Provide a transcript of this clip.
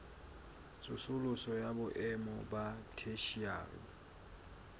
tsosoloso ya boemo ba theshiari